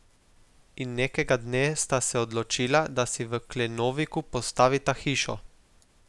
In nekega dne sta se odločila, da si v Klenoviku postavita hišo.